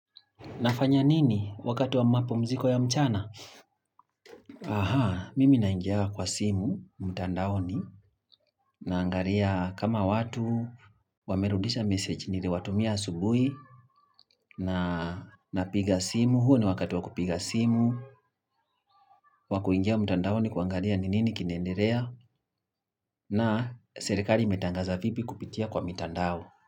Nafanya nini wakati wa mapumziko ya mchana? Ahaa, mimi naingianga kwa simu, mtandaoni, naangalia kama watu, wamerudisha message niliwatumia asubuhi, na napiga simu, huo ni wakati wa kupiga simu, wa kuingia mtandaoni kuangalia ni nini kinaendelea, na serekali imetangaza vipi kupitia kwa mitandao.